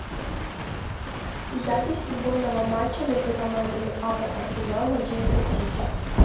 запись футбольного матча между командами апл арсенал манчестер сити